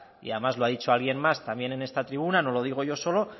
y además lo ha dicho alguien más también en esta tribuna no lo digo yo solo